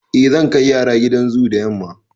Eh, zan kai yara gidan zoo da yamma.